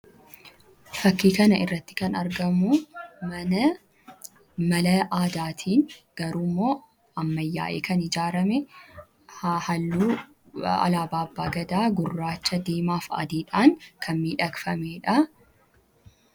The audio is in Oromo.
Fakkiin kana irratti kan argamu mana mala aadaatii, garuu immoo ammayyaa'ee kan ijaarame halluu alaaba abbaa gadaa gurraacha, diimaaf adiidhaan, kan miidhagfameedha.